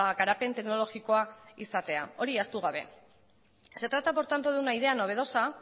garapen teknologikoa izatea hori ahaztu gabe se trata por tanto de una idea novedosa